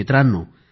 मित्रांनो